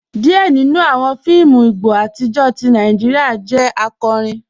Díẹ̀ nínú awọn fíìmù Ìgbò atijọ́ tì Nàìjíríà jẹ́ àkọ́rín.